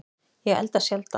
Ég elda sjaldan